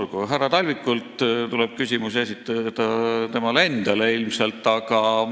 Mis puutub härra Talvikusse, siis ilmselt tuleb küsimusi esitada temale endale.